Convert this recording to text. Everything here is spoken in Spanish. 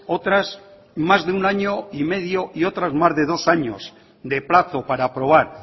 otras más de un año y medio y otras más de dos años de plazo para aprobar